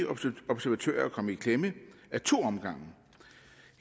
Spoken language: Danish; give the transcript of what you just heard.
osce observatører er kommet i klemme i to omgange